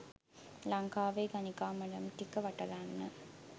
ලංකාවේ ගණිකා මඩම් ටික වටලන්න